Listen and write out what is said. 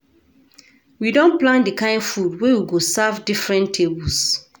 We don plan di kain food wey we go serve different tables.